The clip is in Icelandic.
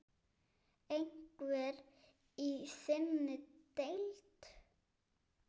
Einhver í þinni deild?